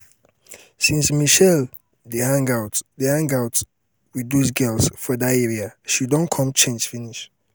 since mitchell begin dey hang out hang out with doz girls for that area she don come change finish